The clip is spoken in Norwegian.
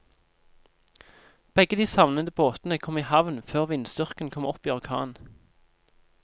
Begge de savnede båtene kom i havn før vindstyrken kom opp i orkan.